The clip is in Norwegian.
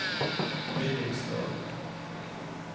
Billingstad